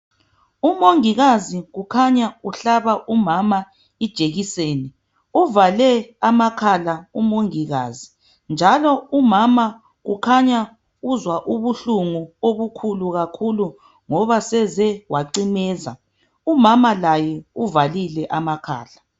UMongikazi kukhanya uhlaba umama ijekiseni. Uvale amakhala uMongikazi njalo umama uzwa ubuhlungu obukhulu kakhulu ngoba seze wacimeza. Umama laye uvalile amakhala.